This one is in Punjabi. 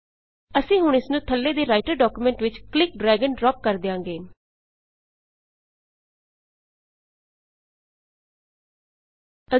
ਅਸੀਂ ਹੁਣ ਇਸਨੂੰ ਥੱਲੇ ਦੇ ਰਾਈਟਰ ਡਾਕੂਮੈਂਟ ਵਿੱਚ ਕਲਿੱਕ ਡ੍ਰੈਗ ਅਤੇ ਡ੍ਰਾਪ ਡਰੈਗ ਏਐਮਪੀ ਡਰੌਪ ਕਰ ਦਿਆਂਗੇ